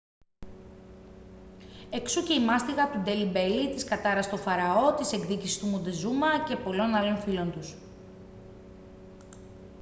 εξού και η μάστιγα του ντέλι μπέλι της κατάρας του φαραώ της εκδίκησης του μοντεζούμα και των πολλών άλλων φίλων τους